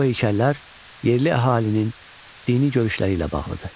Bu heykəllər yerli əhalinin dini görüşləri ilə bağlıdır.